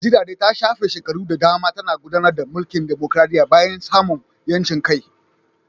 Najeriya dai ta shafe shekaru da dama tana gudanar da mulkin dimokradiyya bayan samun 'yancin kai